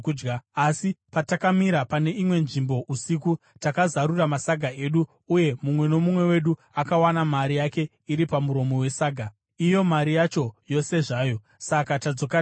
Asi patakamira pane imwe nzvimbo usiku, takazarura masaga edu uye mumwe nomumwe wedu akawana mari yake iri pamuromo wesaga, iyo mari yacho yose zvayo. Saka tadzoka nayo.